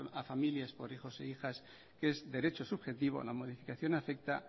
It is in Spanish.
a familias por hijos e hijas que es derecho subjetivo la modificación afecta